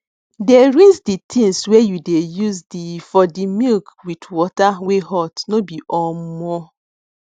dey rinse the things wey you dey use the for the milk with water wey hot no be omo